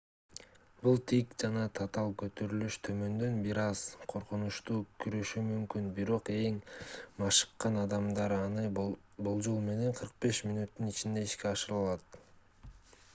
бул тик жана татаал көтөрүлүш төмөндөн бир аз коркунучтуу көрүнүшү мүмкүн бирок эң машыккан адамдар аны болжол менен 45 мүнөттүн ичинде ишке ашыра алат